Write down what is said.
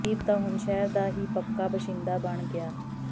ਜਗਦੀਪ ਤਾਂ ਹੁਣ ਸ਼ਹਿਰ ਦਾ ਹੀ ਪੱਕਾ ਬਸ਼ਿੰਦਾ ਬਣ ਗਿਆ